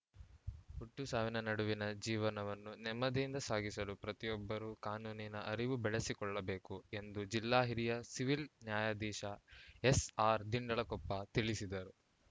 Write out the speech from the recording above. ಹುಟ್ಟು ಸಾವಿನ ನಡುವಿನ ಜೀವನವನ್ನು ನೆಮ್ಮದಿಯಿಂದ ಸಾಗಿಸಲು ಪ್ರತಿಯೊಬ್ಬರೂ ಕಾನೂನಿನ ಅರಿವು ಬೆಳೆಸಿಕೊಳ್ಳಬೇಕು ಎಂದು ಜಿಲ್ಲಾ ಹಿರಿಯ ಸಿವಿಲ್‌ ನ್ಯಾಯಾಧೀಶ ಎಸ್‌ಆರ್‌ ದಿಂಡಲಕೊಪ್ಪ ತಿಳಿಸಿದರು